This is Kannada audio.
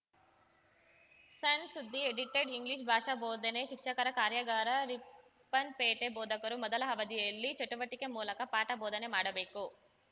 ಸಣ್‌ಸುದ್ದಿ ಎಡಿಟೆಡ್‌ ಇಂಗ್ಲಿಷ್‌ ಭಾಷಾ ಬೋಧನೆ ಶಿಕ್ಷಕರ ಕಾರ್ಯಾಗಾರ ರಿಪ್ಪನ್‌ಪೇಟೆ ಬೋಧಕರು ಮೊದಲ ಅವಧಿಯಲ್ಲಿ ಚಟುವಟಿಕೆ ಮೂಲಕ ಪಾಠ ಬೋಧನೆ ಮಾಡಬೇಕು